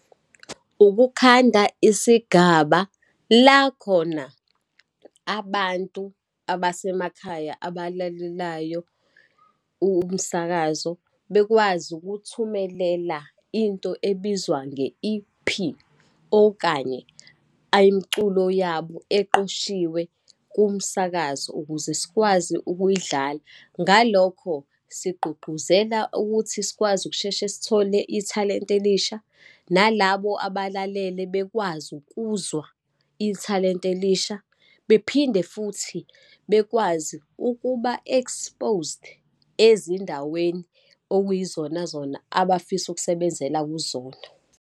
Ukukhanda isigaba la khona abantu abasemakhaya abalelayo, umsakazo bekwazi ukuthumelela into ebizwa nge-E_P, okanye ayimculo yabo eqoshiwe kumsakazo, ukuze sikwazi ukuyidlala. Ngalokho sigqugquzela ukuthi sikwazi ukusheshe sithole ithalente elisha, nalabo abalalele bekwazi ukuzwa ithalente elisha, bephinde futhi bekwazi ukuba exposed ezindaweni okuyizona zona abafisa ukusebenzela kuzona.